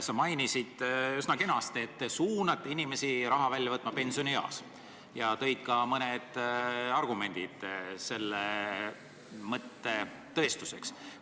Sa mainisid üsna kenasti, et te suunate inimesi raha välja võtma pensionieas, ja tõid ka mõned argumendid selle kinnituseks.